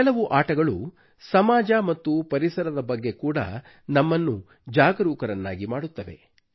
ಕೆಲವು ಆಟಗಳು ಸಮಾಜ ಮತ್ತು ಪರಿಸರದ ಬಗ್ಗೆ ಕೂಡ ನಮ್ಮನ್ನು ಜಾಗರೂಕರನ್ನಾಗಿ ಮಾಡುತ್ತವೆ